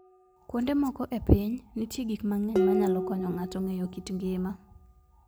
Kuonde moko e piny, nitie gik mang'eny manyalo konyo ng'ato ng'eyo kit ngima.